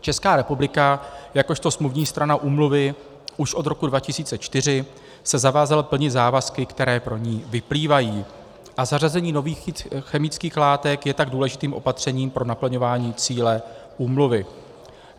Česká republika jakožto smluvní strana úmluvy už od roku 2004 se zavázala plnit závazky, které pro ni vyplývají, a zařazení nových chemických látek je tak důležitým opatřením pro naplňování cíle úmluvy.